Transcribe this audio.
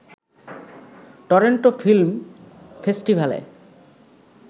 Toronto film ফেস্টিভ্যালে